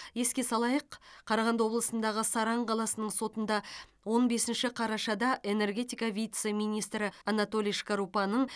еске салайық қарағанды облысындағы саран қаласының сотында он бесінші қарашада энергетика вице министрі анатолий шкарупаның